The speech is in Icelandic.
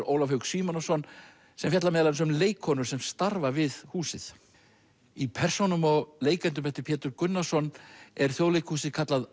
Ólaf Hauk Símonarson sem fjallar meðal annars um leikkonur sem starfa við húsið í persónum og leikendum eftir Pétur Gunnarsson er Þjóðleikhúsið kallað